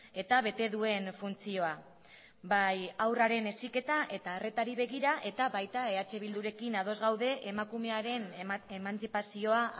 eta bete duen funtzioa bai haurraren heziketa eta arretari begira eta baita eh bildurekin ados gaude emakumearen emantzipazioa